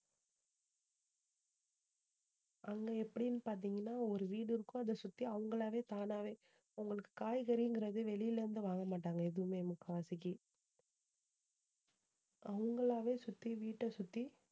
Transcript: அங்க எப்படின்னு பாத்தீங்கன்னா ஒரு வீடு இருக்கும். அதை சுத்தி அவங்களாவே தானாவே அவங்களுக்கு காய்கறிங்கறது வெளியில இருந்து வாங்க மாட்டாங்க எதுவுமே முக்காவாசிக்கு அவங்களாவே சுத்தி வீட்டை சுத்தி